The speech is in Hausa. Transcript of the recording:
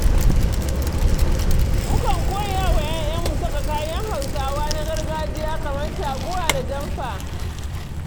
Mukan koya wa 'ya'yanmu saka kayan Hausawa na gargajiya kamar taguwa da jamfa.